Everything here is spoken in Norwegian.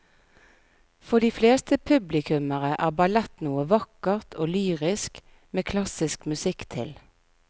For de fleste publikummere er ballett noe vakkert og lyrisk med klassisk musikk til.